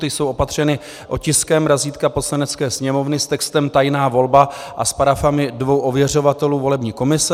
Ty jsou opatřeny otiskem razítka Poslanecké sněmovny s textem "Tajná volba" a s parafami dvou ověřovatelů volební komise.